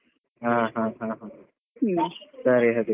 ಹಾ ಹಾ ಹಾ ಸರಿ ಹಾಗಿದ್ರೆ.